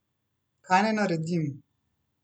Kaj naj naredim?